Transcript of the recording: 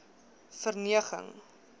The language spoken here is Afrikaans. verneging